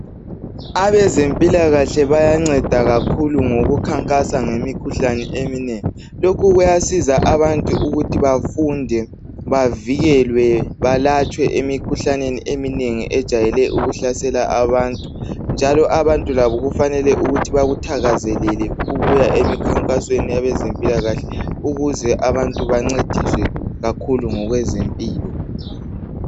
Abezempilakahle bayanceda kakhulu ngokukhankasa ngemikhuhlane eminengi. Lokhu kuyasiza abantu ukuthi bafunde, bavikelwe balatshwe emikhuhlaneneni eminengi ejayele ukuhlasela abantu, njalo abantu labo kufanele ukuthi bakuthakazelele ukuya emikhankasweni yabezempilakahle ukuze abantu bancediswe kakhulu ngokwezempilo.